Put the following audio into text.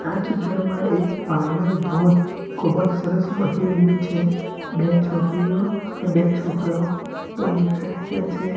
આ ચિત્રમાં એક પાણીનો ધોધ ખુબજ સરસ વહી રહ્યુ છે બે છોકરીઓ અને બે છોકરાઓ પણ દેખાય રહ્યા છે.